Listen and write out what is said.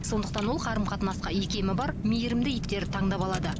сондықтан ол қарым қатынасқа икемі бар мейірімді иттерді таңдап алады